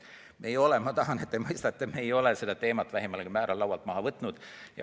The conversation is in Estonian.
Ma tahan, et te mõistate, et me ei ole seda teemat vähimalgi määral laualt maha võtnud.